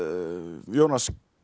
Jónas